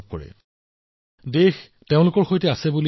তেওঁ বিশ্বাস কৰে যে দেশখন তেওঁৰ সৈতে আছে